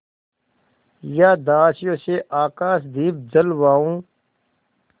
या दासियों से आकाशदीप जलवाऊँ